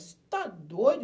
Você está doido?